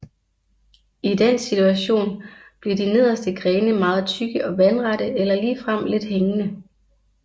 I den situation bliver de nederste grene meget tykke og vandrette eller ligefrem lidt hængende